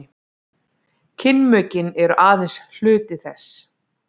kynmökin eru aðeins hluti þess